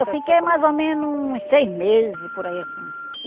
Eu fiquei mais ou menos uns seis meses, por aí assim.